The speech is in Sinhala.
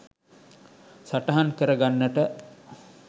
සටහන් කරගන්නට